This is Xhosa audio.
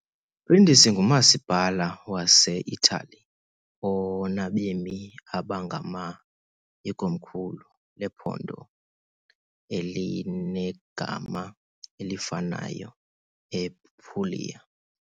Brindisi ngumasipala wase-Italiya onabemi abangama , ikomkhulu lephondo elinegama elifanayo ePuglia .